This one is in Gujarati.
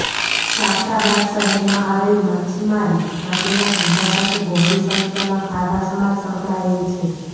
જાફરાબાદ શહેરમાં આવેલ માચ્છિમારી માટેના ધંધા સાથે બહોળી સંખ્યામાં ખારવા સમાજ સંકળાયેલ છે